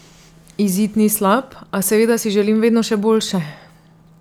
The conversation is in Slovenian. Izid ni slab, a seveda si želim vedno še boljše.